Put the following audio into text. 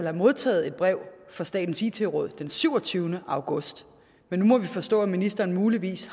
har modtaget et brev fra statens it råd den syvogtyvende august men nu må vi forstå at ministeren muligvis